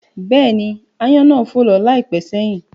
Bẹ́ẹ̀ni, aáyán náà fò lọ láìpẹ́ sẹ́yìn